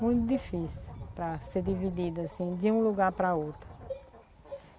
Muito difícil para ser dividida, assim, de um lugar para outro.